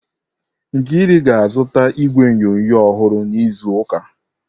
Nkiru ga-azụta igwe onyonyo ọhụrụ n'izu ụka.